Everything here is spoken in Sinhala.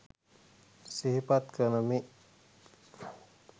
සිහිපත් කරමි